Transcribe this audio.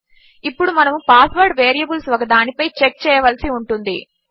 దీనిని మనము password variables ఒకదానిపై చెక్ చేయవలసి ఉంటుంది